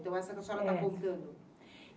Então, essa que a senhora está contando.